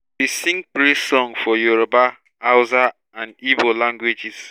we sing praise song for yoruba hausa dn igbo languages